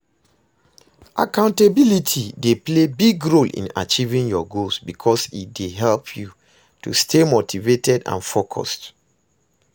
accountability dey play big role in achieving your goals because e dey help you to stay motivated and focused.